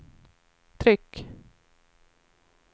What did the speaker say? tryck